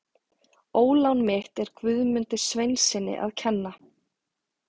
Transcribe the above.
Ólán mitt er Guðmundi Sveinssyni að kenna.